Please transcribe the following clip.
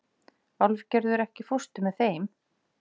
Álfgerður, ekki fórstu með þeim?